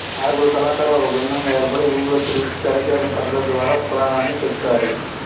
ఆరుగురు కళాకారులు ఒక బృందంగా ఏర్పడి ఊరురా తిరుగుతూ తెరచీరల పటాల ద్వారా పురాణాన్ని చెపుతారు